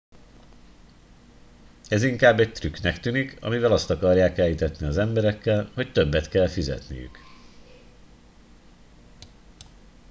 ez inkább egy trükknek tűnik amivel azt akarják elhitetni az emberekkel hogy többet kell fizetniük